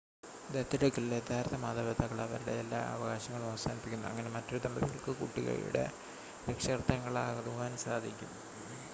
ദത്തെടുക്കലിൽ യഥാർത്ഥ മാതാപിതാക്കൾ അവരുടെ എല്ലാ അവകാശങ്ങളും അവസാനിപ്പിക്കുന്നു അങ്ങനെ മറ്റൊരു ദമ്പതികൾക്ക് കുട്ടിയുടെ രക്ഷകർത്താക്കൾ ആകുവാൻ സാധിക്കും